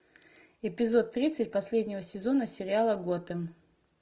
эпизод тридцать последнего сезона сериала готэм